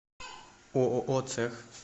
ооо цех